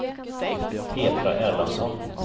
Petra Erlandsson